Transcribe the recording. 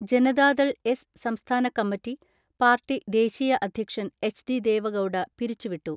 Janata Dal (S) സംസ്ഥാന committee, party ദേശീയ അധ്യക്ഷൻ എച്ച്.ഡി ദേവഗൗഡ പിരിച്ചുവിട്ടു.